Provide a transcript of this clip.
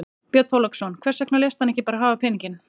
Björn Þorláksson: Hvers vegna léstu hann ekki bara hafa peninginn?